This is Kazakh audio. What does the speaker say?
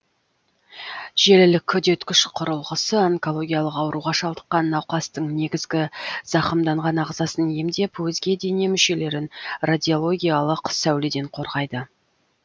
желілік үдеткіш құрылғысы онкологиялық ауруға шалдыққан науқастың негізгі зақымданған ағзасын емдеп өзге дене мүшелерін радиологиялық сәуледен қорғайды